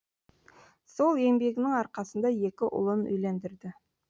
сол еңбегінің арқасында екі ұлын үйлендірді